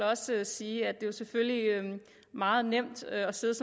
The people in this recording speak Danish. også sige at det jo selvfølgelig er meget nemt at sidde